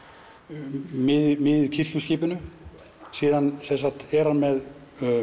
miðju miðju kirkjuskipinu síðan er hann með